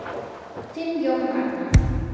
Þinn Jón Ragnar.